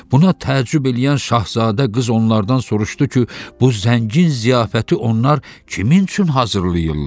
Buna təəccüb eləyən şahzadə qız onlardan soruşdu ki, bu zəngin ziyafəti onlar kimin üçün hazırlayırlar?